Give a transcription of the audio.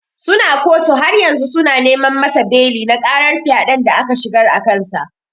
Suna kotu haryanzu suna neman masa beli na karar fyaden da aka shigar akansa.